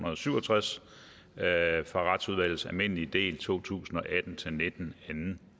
og syv og tres fra retsudvalgets almindelig del to tusind og atten til nitten anden